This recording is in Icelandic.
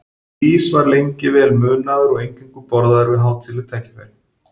Ís var lengi vel munaður og eingöngu borðaður við hátíðleg tækifæri.